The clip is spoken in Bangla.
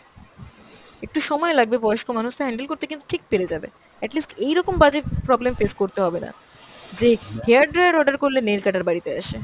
একটু সময় লাগবে, বয়স্ক মানুষ তো handle করতে কিন্তু ঠিক পেরে যাবে। at least এই রকম বাজে problem face করতে হবেনা, যে hair dryer order করলে nail cutter বাড়িতে আসে।